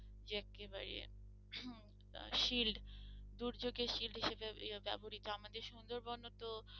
যে এক্কেবারে shield দুর্যোগে shield হিসেবে ব্যবহৃত আমাদের সুন্দরবন তো